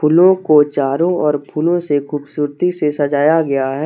फूलों को चारों और फूलों से खूबसूरती से सजाया गया है।